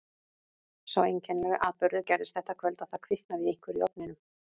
Sá einkennilegi atburður gerðist þetta kvöld að það kviknaði í einhverju í ofninum.